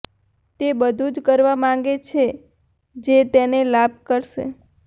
તે બધું જ કરવા માંગે છે જે તેને લાભ કરશે